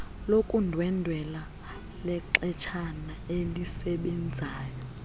lokundwendwela lexeshana elisebenzayo